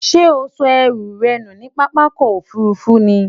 Sé o so ęrù rę nù ní pápákò òfurufú ni?